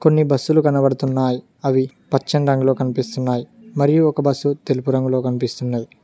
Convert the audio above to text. కొన్ని బస్సులు కనబడుతున్నాయి అవి పచ్చని రంగులో కనిపిస్తున్నాయి మరియు ఒక బస్సు తెలుపు రంగులో కనిపిస్తున్నది.